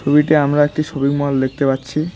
ছবিতে আমরা একটি শপিং মল দেখতে পাচ্ছি।